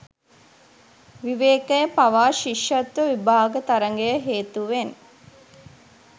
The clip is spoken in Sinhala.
විවේකය පවා ශිෂ්‍යත්ව විභාග තරඟය හේතුවෙන්